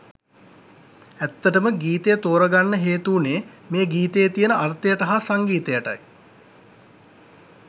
ඇත්තටම ගීතය තෝරගන්න හේතු වුනේ මේ ගීතයේ තියෙන අර්ථයට හා සංගීතයටයි.